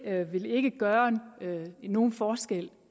vil ikke gøre nogen forskel